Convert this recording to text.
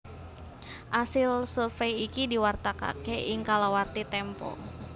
Asil survèy iki diwartakaké ing kalawarti Tempo